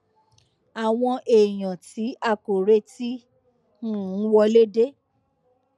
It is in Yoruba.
àwọn èèyàn tí a kò retí um wọlé dé